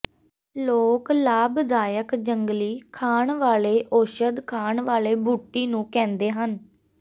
ਲੋਕ ਲਾਭਦਾਇਕ ਜੰਗਲੀ ਖਾਣ ਵਾਲੇ ਔਸ਼ਧ ਖਾਣ ਵਾਲੇ ਬੂਟੀ ਨੂੰ ਕਹਿੰਦੇ ਹਨ